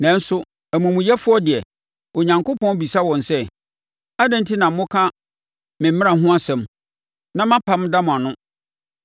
Nanso, amumuyɛfoɔ deɛ, Onyankopɔn bisa wɔn sɛ, “Adɛn enti na moka me mmara ho asɛm na mʼapam da mo ano?